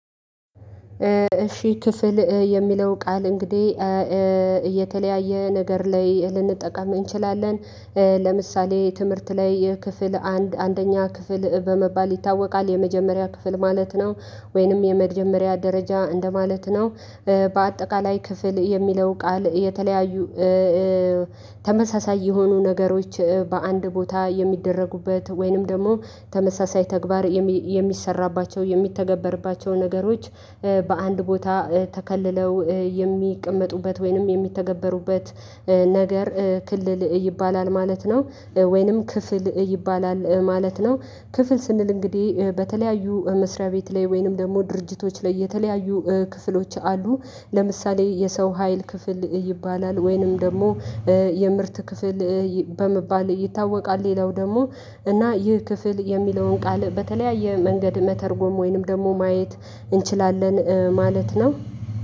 እሺ ክፍል የሚለው ቃል እንግዲህ እየተለያየ ነገር ላይ ልንጠቀም እንችላለን። ለምሳሌ ትምህርት ላይ የክፍል አንድ አንደኛ ክፍል በመባል ይታወቃል የመጀመሪያ ክፍል ማለት ነው። ወይንም የመጀመሪያ ደረጃ እንደማለት ነው። በአጠቃላይ ክፍል የሚለው ቃል የተለያዩ። ተመሳሳይ የሆኑ ነገሮች በአንድ ቦታ የሚደረጉበት ወይንም ደግሞ ተመሳሳይ ተግባር የሚሰራባቸው የሚተገበርባቸው ነገሮች በአንድ ቦታ ተከልለው የሚቀመጡበት ወይንም የሚተገበሩበት ነገር ክልል ይባላል ማለት ነው። ወይንም ክፍል ይባላል ማለት ነው። ክፍል ስንል እንግዲህ በተለያዩ መስሪያ ቤት ላይ ወይንም ደግሞ ድርጅቶች ላይ የተለያዩ ክፍሎች አሉ። ለምሳሌ የሰው ሀይል ክፍል ይባላል ወይንም ደግሞ የምርት ክፍል በመባል ይታወቃል። ሌላው ደግሞ እና ይህ ክፍል የሚለውን ቃል በተለያየ መንገድ መተርጎም ወይንም ደግሞ ማየት እንችላለን ማለት ነው።